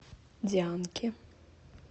дианке